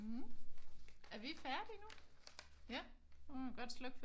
Er vi færdige nu? Ja? Så må man godt slukke